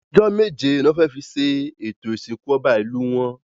Ọjọ́ méje ló fẹ́ fi ṣe ètò Ìsìnkú ọba Ìlú wọn